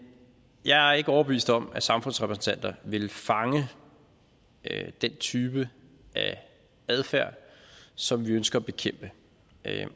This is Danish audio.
jeg er ikke overbevist om at samfundsrepræsentanter ville fange den type af adfærd som vi ønsker at bekæmpe